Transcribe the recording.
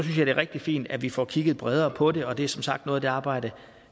er rigtig fint at vi får kigget bredere på det og det er som sagt noget af det arbejde